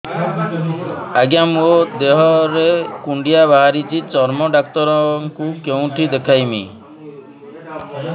ଆଜ୍ଞା ମୋ ଦେହ ରେ କୁଣ୍ଡିଆ ବାହାରିଛି ଚର୍ମ ଡାକ୍ତର ଙ୍କୁ କେଉଁଠି ଦେଖେଇମି